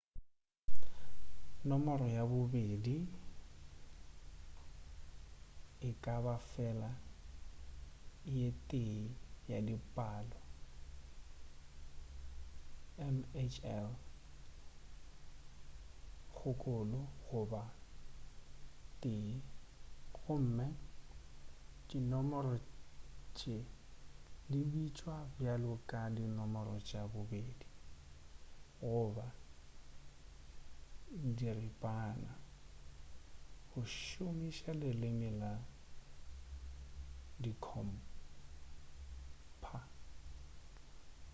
nomoro ya bobedi e ka ba fela le ye tee ya di palo mhl 0 goba 1 gomme dinomoro tše di bitšwa bjalo ka di nomoro tša bobedi goba diripana go šomiša leleme la dikhompha